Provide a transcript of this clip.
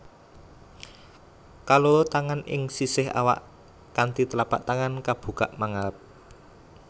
Kaloro tangan ing sisih awak kanthi tlapak tangan kabukak mangarep